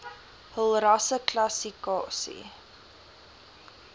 hul rasseklassi kasie